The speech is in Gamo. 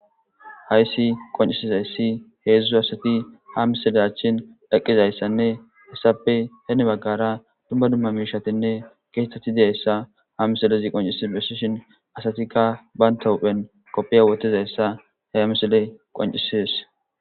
Haysi qoncisizaysi heezu asati ha misile achan eqizaysane heysape hini bagara duma duma miishatine keethathi dizaysa ha misilezi qoncisi besishe asatika bantha huuphen qophe wothidaysa ha misile qoncises.